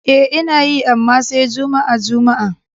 E, Ina yi, amma sai juma'a-juma'a.